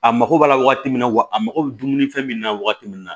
A mako b'a la waagati min na wa a mako bɛ dumuni fɛn min na wagati min na